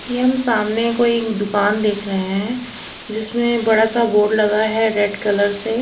ये हम सामने कोई दुकान देख रहे हैं जिसमें बड़ा सा बोर्ड लगा है रेड कलर से।